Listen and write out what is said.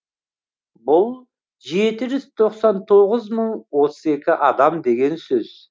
бұл жеті жүз тоқсан тоғыз мың отыз екі адам деген сөз